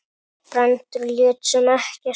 Brandur lét sem ekkert væri.